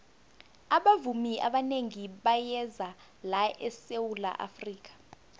abavumi abanengi bayeza la esawula afrika